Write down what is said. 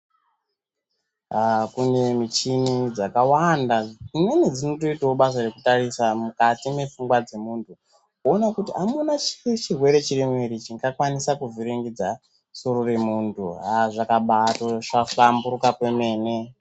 Kune muchini dzakawanda dzimweni dzinotoita basa rekutarisa mukati mefungwa dzemuntu voona kuti amuna chirwere ere chingakwanisa kuvhiringidza soro remuntu. Hazvakatoba hlamburuka kwemene.